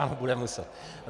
Ano, bude muset.